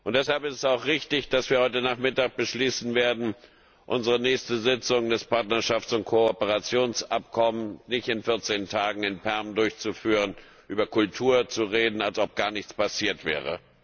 Deshalb ist es auch richtig, dass wir heute Nachmittag beschließen werden, unsere nächste Sitzung des Partnerschafts und Kooperationsabkommens nicht in vierzehn Tagen in Perm durchzuführen, über Kultur zu reden, als ob gar nichts passiert wäre.